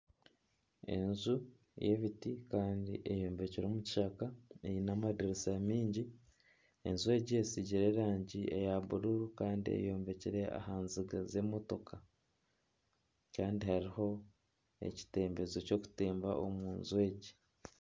Enju y'ebiti kandi eyombekire omu kishaka eine amadiriisa mingi enju egi etsigire erangi eya buru kandi eyombekire aha nziga z'emotooka kandi hariho ekitembezo ky'okutemba omuju egi.